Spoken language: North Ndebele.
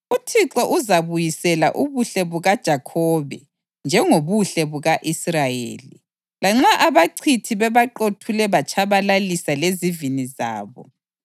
UThixo uzabuyisela ubuhle bukaJakhobe njengobuhle buka-Israyeli, lanxa abachithi bebaqothule batshabalalisa lezivini zabo.